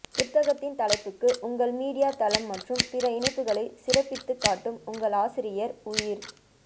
புத்தகத்தின் தலைப்புக்கு உங்கள் மீடியா தளம் மற்றும் பிற இணைப்புகளை சிறப்பித்துக் காட்டும் உங்கள் ஆசிரியர் உயிர்